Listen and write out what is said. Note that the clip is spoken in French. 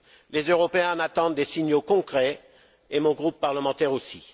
Les Européens en attendent des signaux concrets, et mon groupe parlementaire aussi.